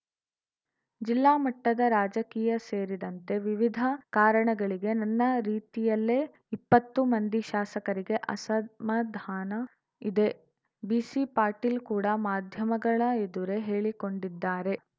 ಜಿಲ್ಲಾ ಮಟ್ಟದ ರಾಜಕೀಯ ಸೇರಿದಂತೆ ವಿವಿಧ ಕಾರಣಗಳಿಗೆ ನನ್ನ ರೀತಿಯಲ್ಲೇ ಇಪ್ಪತ್ತು ಮಂದಿ ಶಾಸಕರಿಗೆ ಅಸಮಾಧಾನ ಇದೆ ಬಿಸಿ ಪಾಟೀಲ್‌ ಕೂಡ ಮಾಧ್ಯಮಗಳ ಎದುರೇ ಹೇಳಿಕೊಂಡಿದ್ದಾರೆ